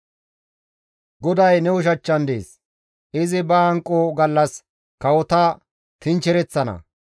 GODAY ne ushachchan dees; izi ba hanqo gallas kawota tinchchereththana.